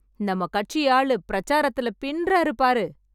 நம்ம கட்சி ஆளு பிரிச்சாரத்துல பின்றாரு பாரு